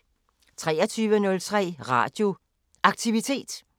23:03: Radio Aktivitet